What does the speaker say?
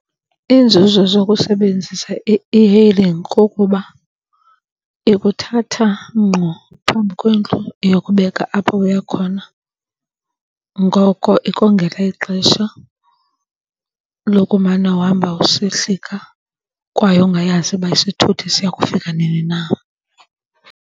Iinzuzo zokusebenzisa i-e-hailing kukuba ikuthatha ngqo phambi kwendlu iyokubeka apho uya khona. Ngoko ikongela ixesha lokumana uhamba usehlika kwaye ungayazi ukuba isithuthi siya kufika nini na.